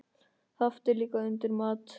Haft er líka undir mat.